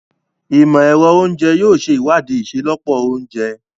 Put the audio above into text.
Imọ-ẹrọ Oúnjẹ yóò ṣe iwadii iṣelọpọ ounjẹ